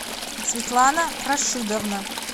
светлана рашидовна